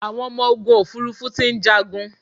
Àwọn ọmọ ogun òfurufú ti ń jàgun